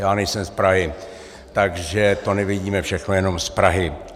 Já nejsem z Prahy, takže to nevidíme všechno jenom z Prahy.